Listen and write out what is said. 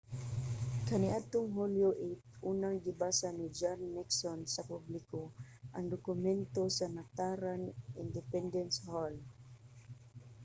kaniadtong hulyo 8 unang gibasa ni john nixon sa publiko ang dokumento sa nataran sa independence hall